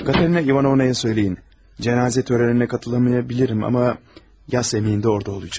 Katerina İvanovnaya söyləyin, cənazə törəninə qatılmayabilirəm amma yas əməyində orada olacaqam.